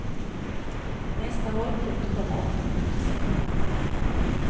Nästa hållpunkt kommer åtta minuter senare.